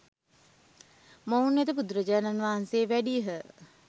මොවුන් වෙත බුදුරජාණන් වහන්සේ වැඩියහ.